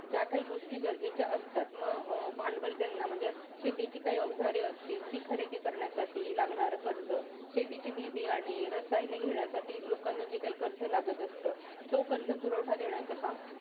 ज्या काही गोष्टी गरजेच्या असतात. मग अं भांडवल ज्यांना म्हणजे शेतीची काही अवजारे असतील, ती खरेदी करण्यासाठी लागणारे कर्ज शेतीच्या बी-बियाणे रसायने घेण्यासाठी लोकांना जे काही कर्ज लागत असतं, तो कर्ज पुरवठा देण्याचं काम